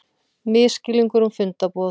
Misskilningur um fundarboð